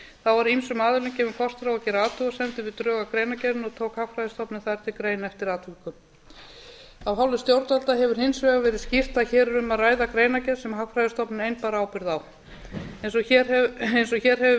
þá var ýmsum aðilum gefinn kostur á að gera athugasemdir við drög að greinargerðinni og tók hagfræðistofnun það til greina eftir atvikum af hálfu stjórnvalda hefur hins vegar verið skýrt að hér er um að ræða greinargerð sem hagfræðistofnun ein bar ábyrgð á eins og hér hefur verið